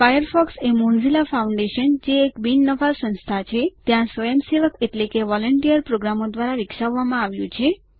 Firefox એ Mozilla foundation જે એક બિન નફા સંસ્થા છે ત્યાં સ્વયંસેવક એટલે કે વોલન્ટિયર પ્રોગ્રામરો દ્વારા વિકસાવવામાં આવ્યું છે